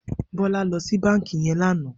Bola lò si bànkí yèn lànã